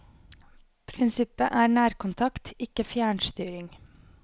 Prinsippet er nærkontakt, ikke fjernstyring.